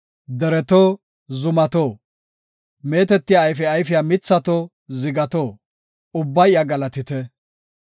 Dereto, zumato, meetetiya ayfe ayfiya mithato, zigato, ubbay iya galatite.